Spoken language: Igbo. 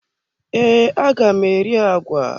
Ee, aga m eri agwa.